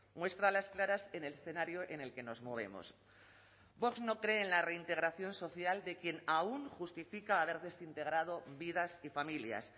muestra a las claras en el escenario en el que nos movemos vox no cree en la reintegración social de quien aún justifica haber desintegrado vidas y familias